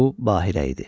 Bu Bahira idi.